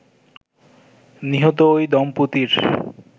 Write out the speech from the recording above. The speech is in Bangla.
নিহত ঐ দম্পতির